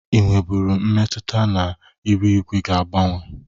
Ị nwebụru mmetụta na iru igwe ga agbanwe?